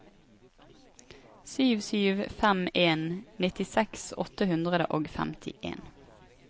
sju sju fem en nittiseks åtte hundre og femtien